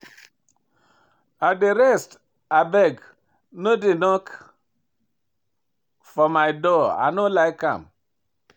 I dey rest abeg no dey knock for my door, I no like am.